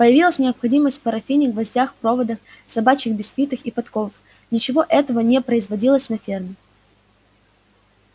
появилась необходимость в парафине гвоздях проводах собачьих бисквитах и подковах ничего этого не производилось на ферме